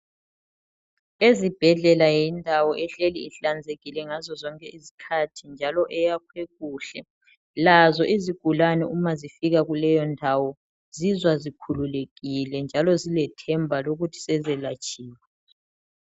Ezibhedlela yindawo ehleli ihlanzekile ngazozonke izikhathi njalo eyakhwe kuhle. Lazo izigulane uma zifika kuleyondawo zizwa zikhululekile njalo zilethemba lokuthi sezelatshiwe.